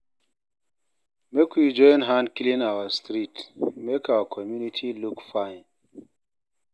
Make we join hand clean our street, make our community look fine